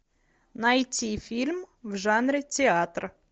найти фильм в жанре театр